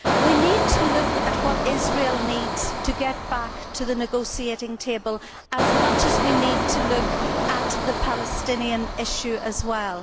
We need to look at what Israel needs in order for it to get back to the negotiating table as much as we need to look at the Palestinian issue as well.